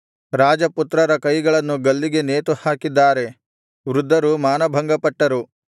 ರಾಜಪುತ್ರರ ಕೈಗಳನ್ನು ಗಲ್ಲಿಗೆ ನೇತುಹಾಕಿದ್ದಾರೆ ವೃದ್ಧರು ಮಾನಭಂಗಪಟ್ಟರು